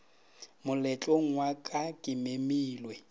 moletlong wa ka ke memile